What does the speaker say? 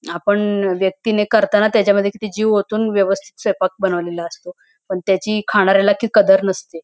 आपण व्यक्तीने करताना त्याच्या मध्ये किती जीव ओतून व्यवस्तीत स्वयपाक बनवलेला असतो पण त्याची खणाऱ्याला ती कदर नसते.